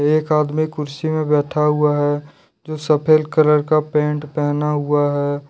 एक आदमी कुर्सी में बैठा हुआ है जो सफेल कलर का पैंट पहना हुआ है।